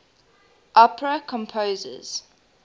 opera composers